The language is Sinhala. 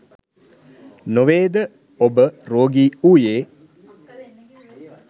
නොවේද ඔබ රෝගී වුයේ?